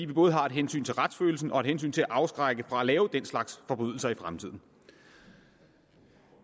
både har et hensyn til retsfølelsen og et hensyn til det at afskrække fra at lave den slags forbrydelser i fremtiden